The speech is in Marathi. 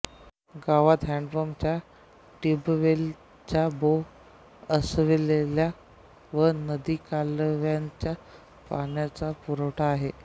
गावात हॅन्डपंपच्या ट्यूबवेलच्याबोअरवेलच्या व नदीकालव्याच्या पाण्याचा पुरवठा आहे